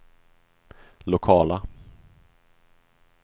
lokala